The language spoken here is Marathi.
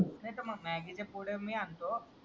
नाय तर मग मॅग्गी चे पुढे मी आणतो